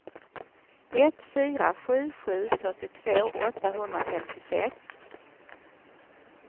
ett fyra sju sju fyrtiotvå åttahundrafemtiosex